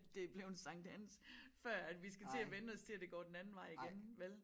Det bleven Sankt Hans før at vi skal til at vænne os til at det går den anden vej igen vel